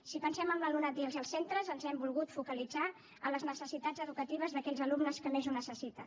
si pensem en l’alumnat i en els centres ens hem volgut focalitzar en les necessitats educatives d’aquells alumnes que més ho necessiten